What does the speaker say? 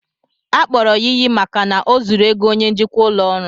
Akpọrọ ya iyi maka na o zuru ego onye njikwa ụlọ ọrụ